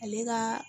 Ale ka